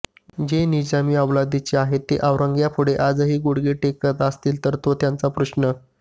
जे निजामी अवलादीचे आहेत ते औरंग्यापुढे आजही गुडघे टेकत असतील तर तो त्यांचा प्रश्न